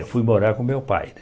Fui morar com meu pai